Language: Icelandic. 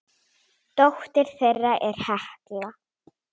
Dóttir þeirra er Hekla.